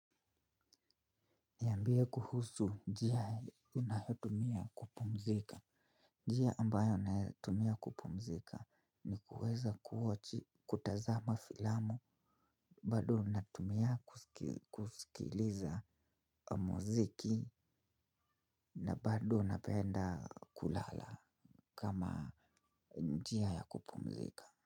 Niambia kuhusu njia unayotumia kupumzika. Njia ambayo nayotumia kupumzika ni kuweza kuwochi, kutazama filamu, bado natumia kusikiliza muziki na bado napenda kulala kama njia ya kupumzika.